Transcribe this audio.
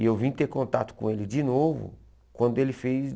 E eu vim ter contato com ele de novo quando ele fez